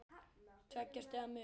Tveggja stiga munur.